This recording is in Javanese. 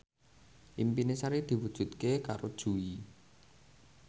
impine Sari diwujudke karo Jui